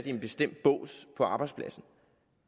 en bestemt bås på arbejdspladsen